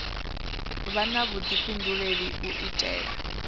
vha na vhuḓifhinduleli u itela